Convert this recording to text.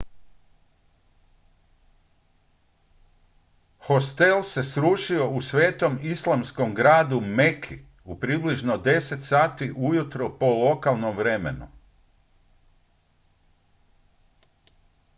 hostel se srušio u svetom islamskom gradu meki u približno 10 sati ujutro po lokalnom vremenu